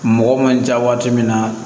Mɔgɔ man ca waati min na